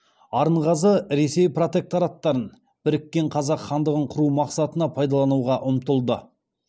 арынғазы ресей протекторатын біріккен қазақ хандығын құру мақсатына пайдалануға ұмтылды